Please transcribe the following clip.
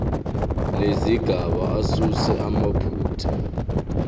nezigaba asuse amaphutha